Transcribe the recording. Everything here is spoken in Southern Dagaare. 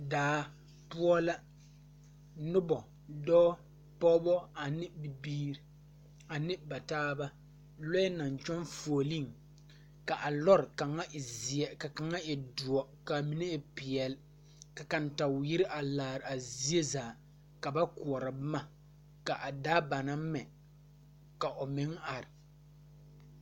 Daa poɔ la nobɔ dɔɔ pɔɔbɔ ane bibiire ane ba taaba lɔɛ naŋ kyɛŋ fuolee ka a lɔre kaŋa e zeɛ ka kaŋa e doɔ kaa mine e peɛle ka kantatwiire a laaraa zie zaa ka ba koɔrɔ boma ka a daa ba naŋ mɛ ka o meŋ are.